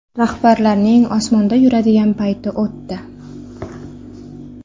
Rahbarlarning osmonda yuradigan payti o‘tdi.